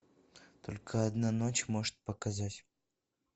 только одна ночь может показать